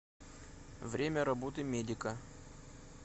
время работы медика